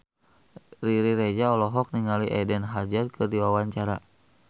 Riri Reza olohok ningali Eden Hazard keur diwawancara